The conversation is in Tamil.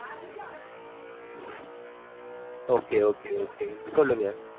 okay okay உம் சொல்லுங்க